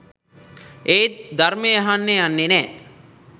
ඒත් ධර්මය අහන්න යන්නේ නෑ.